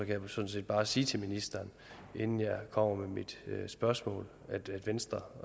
jeg sådan set bare sige til ministeren inden jeg kommer med mit spørgsmål at venstre